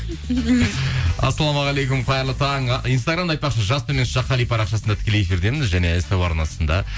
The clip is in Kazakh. ассалаумағалейкум қайырлы таң инстаграмда айтпақшы жас қали парақшасында тікелей эфирдеміз және ств арнасында